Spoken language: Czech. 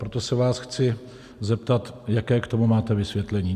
Proto se vás chci zeptat, jaké k tomu máte vysvětlení.